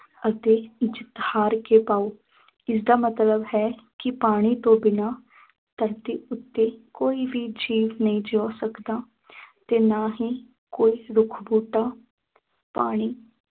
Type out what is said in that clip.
ਅਤੇ ਜਿੱਤ ਹਾਰ ਕੇ ਪਾਉ ਇਸਦਾ ਮਤਲਬ ਹੈ ਕਿ ਪਾਣੀ ਤੋਂ ਬਿਨਾਂ ਧਰਤੀ ਉੱਤੇ ਕੋਈ ਜੀਵ ਨਹੀਂ ਜਿਉਂ ਸਕਦਾ ਤੇ ਨਾ ਹੀ ਕੋਈ ਰੁੱਖ ਬੂਟਾ ਪਾਣੀ